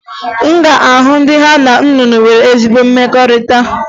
Ị ga-ahụ ndị ha na nnụnụ nwere ezi mmekọrịta